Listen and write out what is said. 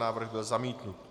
Návrh byl zamítnut.